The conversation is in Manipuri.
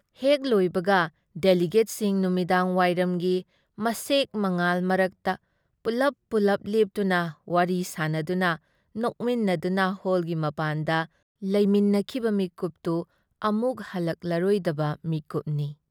ꯍꯦꯛ ꯂꯣꯏꯕꯒꯗꯦꯂꯤꯒꯦꯠꯁꯤꯡ ꯅꯨꯃꯤꯗꯥꯡꯋꯥꯏꯔꯝꯒꯤ ꯃꯁꯦꯛ-ꯃꯉꯥꯜ ꯃꯔꯛꯇ ꯄꯨꯜꯂꯞ-ꯄꯨꯜꯂꯞ ꯂꯦꯞꯇꯨꯅ ꯋꯥꯔꯤ ꯁꯥꯅꯗꯨꯅ ꯅꯣꯛꯃꯤꯟꯅꯗꯨꯅ ꯍꯣꯜꯒꯤ ꯃꯄꯥꯟꯗ ꯂꯩꯃꯤꯟꯅꯈꯤꯕ ꯃꯤꯀꯨꯞꯇꯨ ꯑꯃꯨꯛ ꯍꯜꯂꯛꯂꯔꯣꯏꯗꯕ ꯃꯤꯀꯨꯞꯅꯤ ꯫